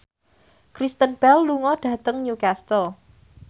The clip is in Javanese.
Kristen Bell lunga dhateng Newcastle